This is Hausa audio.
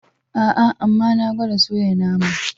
Aa, amma na gwada soya naman.